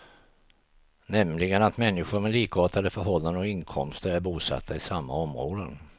Nämligen att människor med likartade förhållanden och inkomster är bosatta i samma områden.